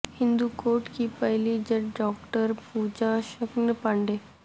ہندو court کی پہلی جج ڈاکٹر پوجا شکن پانڈے